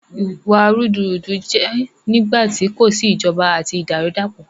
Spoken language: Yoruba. Ìwà rúdurùdu jẹ nígbàtí kò sí ìjọba àti tí ìdàrúdàpọ̀